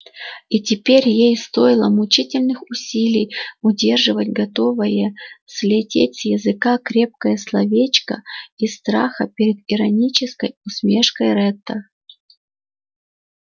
и теперь ей стоило мучительных усилий удерживать готовое слететь с языка крепкое словечко из страха перед иронической усмешкой ретта